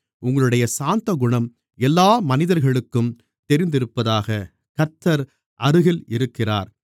உங்களுடைய சாந்தகுணம் எல்லா மனிதர்களுக்கும் தெரிந்திருப்பதாக கர்த்தர் அருகில் இருக்கிறார்